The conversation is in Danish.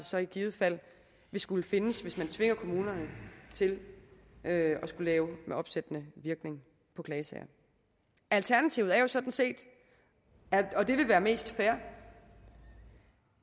så i givet fald vil skulle findes hvis man tvinger kommunerne til at skulle lave med opsættende virkning på klagesager alternativet er jo sådan set og det vil være mest fair